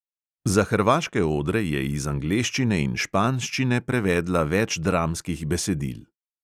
Za hrvaške odre je iz angleščine in španščine prevedla več dramskih besedil.